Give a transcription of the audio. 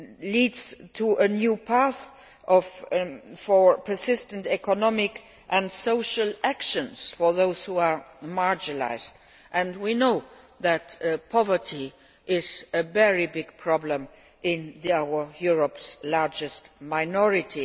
leads to a new path for persistent economic and social actions for those who are marginalised and we know that poverty is a very big problem in Europe's largest minority.